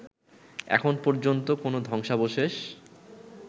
এখন পর্যন্ত কোন ধ্বংসাবশেষ